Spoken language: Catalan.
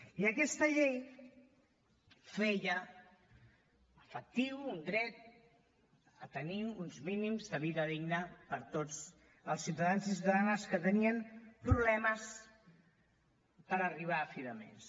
i aquesta llei feia efectiu un dret a tenir uns mínims de vida digna per a tots els ciutadans i ciutadanes que tenien problemes per arribar a fi de mes